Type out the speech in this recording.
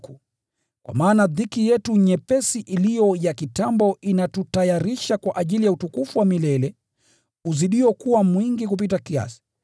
Kwa maana dhiki yetu nyepesi iliyo ya kitambo inatutayarisha kwa ajili ya utukufu wa milele unaozidi kuwa mwingi kupita kiasi,